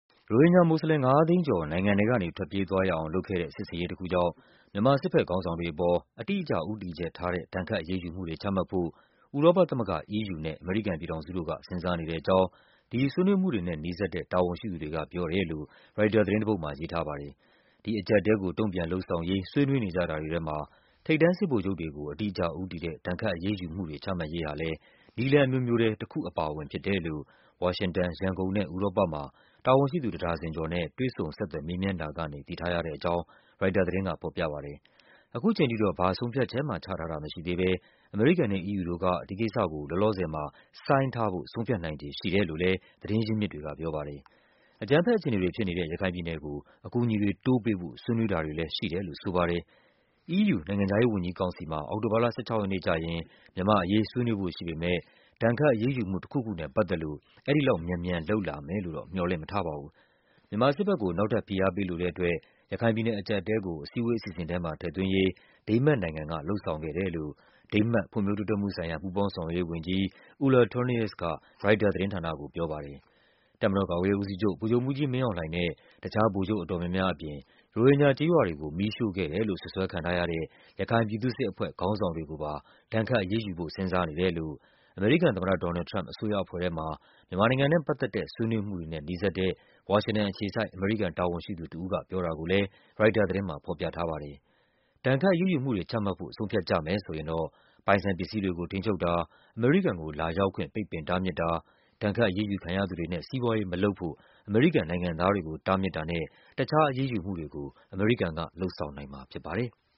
ရိုဟင်ဂျာမွတ်စလင် ၅၀၀,၀၀၀ ကျော် နိုင်ငံထဲကနေထွက်ပြေးသွားရအောင် လုပ်ခဲ့တဲ့ စစ်ဆင်ရေးတခုကြောင့် မြန်မာ စစ်ဘက် ခေါင်းဆောင်တွေအပေါ် အတိအကျဦးတည်ချက်ထားတဲ့ ဒဏ်ခတ်အရေးယူမှုတွေချမှတ်ဖို့ ဥရောပသမဂ္ဂ EU နဲ့ အမေရိကန် ပြည်ထောင်စုတို့က စဉ်းစားနေတဲ့အကြောင်း ဒီဆွေးနွေးမှုတွေနဲ့နီးစပ်တဲ့ တာဝန်ရှိသူတွေကပြောတယ်လို့ ရိုက်တာသတင်းတပုဒ် မှာရေးထားပါတယ်။ ဒီအကျပ်အတည်းကို တုံ့ပြန်လုပ်ဆောင်ရေး ဆွေးနွေးနေကြတာတွေထဲမှာ ထိပ်တန်းစစ်ဗိုလ်ချုပ်တွေကို အတိအကျဦးတည်တဲ့ ဒဏ်ခတ်အရေးယူမှုတွေ ချမှတ်ရေးဟာလဲ နည်းလမ်းအမျိုးမျိုးထဲမှာ တခါအပါအဝင်ဖြစ်တယ်လို့ ဝါရှင်တန်၊ ရန်ကုန်နဲ့ ဥရောပမှာ တာဝန်ရှိသူ တဒါဇင်ကျော်နဲ့ တွေ့ဆုံ ဆက်သွယ် မေးမြန်းတာကနေ သိထားရတယ်လို့ ရိုက်တာသတင်းက ဖော်ပြပါတယ်။ ခုချိန်ထိတော့ ဘာဆုံးဖြတ်ချက်မှ ချတာ မရှိသေးဘဲ အမေရိကန်နဲ့ EU တို့က ဒီကိစ္စကို လောလောဆယ်မှာ ဆိုင်းထားဖို့ ဆုံးဖြတ် နိုင်ခြေရှိတယ်လို့လဲ သတင်းရင်းမြစ်တွေကပြောပါတယ်။ အကြမ်းဖက်အခြေအနေတွေဖြစ်နေတဲ့ ရခိုင်ပြည်နယ်ကို အကူအညီ တွေ တိုးပေးဖို့ ဆွေးနွေးတာတွေလဲ ရှိတယ်လို့ဆိုပါတယ်။ EU နိုင်ငံခြားရေးဝန်ကြီးကောင်စီမှာ အောက်တိုဘာလ ၁၆ ရက်နေ့ကျရင် မြန်မာ့အရေး ဆွေးနွေးဖို့ရှိပေမဲ့ ဒဏ်ခတ်အရေးယူမှု တခုခုနဲ့ပတ်သက်လို့ အဲဒီလောက်မြန်မြန် လုပ်လာမယ်လို့တော့ မျှော်လင့်မထားပါဘူး။ မြန်မာစစ်ဘက်ကို နောက်ထပ်ဖိအားပေး လိုတဲ့အတွက် ရခိုင်ပြည်နယ်အကျပ်အတည်းကို အစည်းအဝေးအစီအစဉ်ထဲမှာ ထည့်သွင်းရေး ဒိန်းမတ်နိုင်ငံက လုပ်ဆောင်ခဲ့ တယ်လို့ ဖွံ့ဖြိုးတိုးတက်မှုဆိုင်ရာ ပူးပေါင်းဆောင်ရွက်ရေးဝန်ကြီး Ulla Tornaes က ရိုက်တာသတင်းဌာနကို ပြောပါတယ်။ တပ်မတော်ကာကွယ်ရေးဦးစီးချုပ် ဗိုလ်ချုပ်မှူးကြီးမင်းအောင်လှိုင်နဲ့ တခြားဗိုလ်ချုပ်အတော်များများအပြင် ရိုဟင်ဂျာကျေးရွာတွေ ကို မီးရှို့ခဲ့တယ်လို့ စွပ်စွဲခံထားရတဲ့ ရခိုင်ပြည်သူ့စစ်အဖွဲ့ ခေါင်းဆောင်တွေကိုပါ ဒဏ်ခတ်အရေးယူဖို့ စဉ်းစားနေတယ်လို့ အမေရိကန်သမ္မတ ဒေါ်နယ်လ်ဒ် ထရမ့်ပ် အစိုးရအဖွဲ့ထဲမှာ မြန်မာနိုင်ငံနဲ့ပတ်သက်တဲ့ ဆွေးနွေးမှုတွေနဲ့ နီးစပ်တဲ့ ဝါရှင်တန်အခြေ စိုက် အမေရိကန်တာဝန်ရှိသူနှစ်ဦးက ပြောတာကိုလဲ ရိုက်တာသတင်းမှာ ဖော်ပြထားပါတယ်။ ဒဏ်ခတ်အရေးယူမှုတွေ ချမှတ်ဖို့ ဆုံးဖြတ်ကြမယ်ဆိုရင်တော့ ပိုင်ဆိုင်ပစ္စည်းတွေကို ထိန်းချုပ်တာ၊ အမေရိကန်ကို လာရောက် ခွင့် ပိတ်ပင်တားမြစ်တာ၊ ဒဏ်ခတ်အရေးယူခံရသူတွေနဲ့ စီးပွားရေးမလုပ်ဖို့ အမေရိကန်နိုင်ငံသားတွေကို တားမြစ်တာနဲ့ တခြား အရေးယူမှုတွေကို အမေရိကန်က လုပ်ဆောင်နိုင်မှာဖြစ်ပါတယ်။